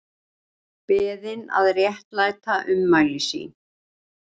Beðin að réttlæta ummæli sín